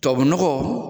Tubabu nɔgɔ